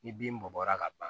Ni bin bɔla ka ban